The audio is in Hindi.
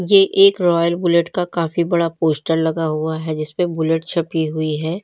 ये एक रॉयल बुलेट का काफी बड़ा पोस्टर लगा हुआ है जिस पर बुलेट छपी हुई है।